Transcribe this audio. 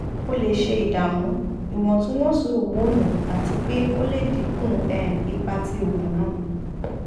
o le ṣe idamu iwontunwonsi homonu ati pe o le dinku um ipa ti oògùn naa